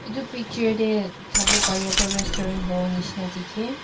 Etu picture da saibo pareya tu restaurant hobo neshena dekhe.